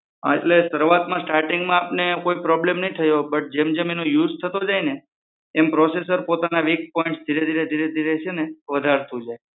હા એટલે શરૂઆતના સ્ટારટીંગમાં આપને કોઈ problem નઈ થયો હોઈ બટ જેમ જેમ એનો યુઝ થતો જાય ને એમ processor પોતાના વીક પોઈન્ટ ધીરે ધીરે છે ને વધારતો જાય છે.